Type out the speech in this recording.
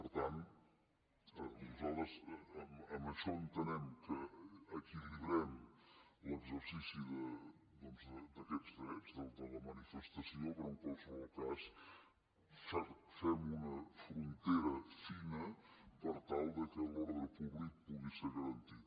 per tant nosaltres amb això entenem que equilibrem l’exercici doncs d’aquests drets dels de la manifestació però en qualsevol cas fem una frontera fina per tal que l’ordre públic pugui ser garantit